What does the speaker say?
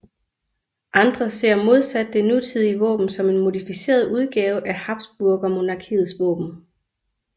Andre ser modsat det nutidige våben som en modificeret udgave af habsburgermonarkiets våben